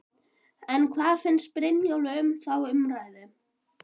En hvað finnst Brynjólfi um þá umræðu?